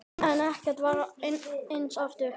En ekkert varð aftur eins.